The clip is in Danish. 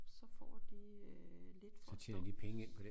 Så får de øh lidt for at stå